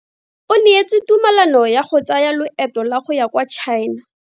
O neetswe tumalano ya go tsaya loeto la go ya kwa China.